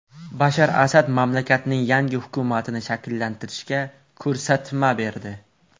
Bashar Asad mamlakatning yangi hukumatini shakllantirishga ko‘rsatma berdi.